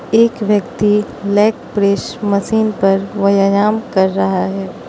एक व्यक्ति leg press machine पर वयायाम कर रहा है।